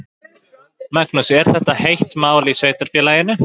Magnús: Er þetta heitt mál í sveitarfélaginu?